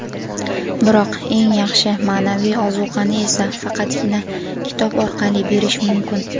biroq eng yaxshi ma’naviy ozuqani esa faqatgina kitob orqali berish mumkin.